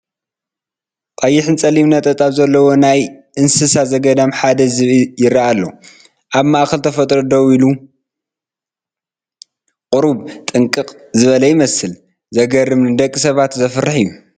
ቀይሕን ጸሊምን ነጠብጣብ ዘለዎ ካብ ናይ እንስሳ ዘገዳም ሓደ ዝብኢ ይርአ ኣሎ። ኣብ ማእከል ተፈጥሮ ደው ኢሉ ቁሩብ ጥንቁቕ ዝበለ ይመስል። ዘገርምን ንደቂ ሰባት ዘፍርሕን እዩ።